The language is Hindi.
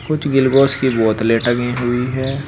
कुछ की बोतलें टंगी हुई है।